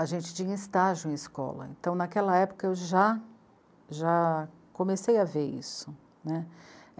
A gente tinha estágio em escola, então naquela época eu já, já comecei a ver isso, né.